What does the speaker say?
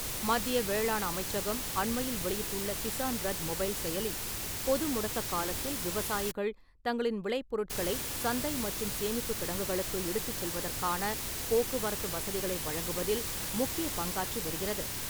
மத்திய வேளாண் அமைச்சகம் அண்மையில் வெளியிட்டுள்ள கிசான் ரத் மொபைல் செயலி, பொது முடக்க காலத்தில் விவசாயிகள் தங்களின் விளை பொருட்களை, சந்தை மற்றும் சேமிப்புக் கிடங்குகளுக்கு எடுத்துச் செல்வதற்கான போக்குவரத்து வசதிகளை வழங்குவதில் முக்கிய பங்காற்றி வருகிறது.